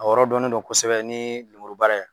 A yɔrɔ dɔnnen don kosɛbɛ ni lemuru baara ye